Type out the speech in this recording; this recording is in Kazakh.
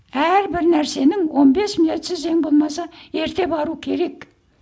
әрбір нәрсенің он бес минутсыз ең болмаса ерте бару керек